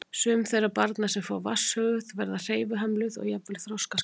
Sum þeirra barna sem fá vatnshöfuð verða hreyfihömluð og jafnvel þroskaskert.